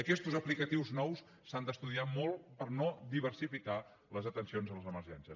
aquestes aplicacions noves s’han d’estudiar molt per no diversificar les atencions en les emergències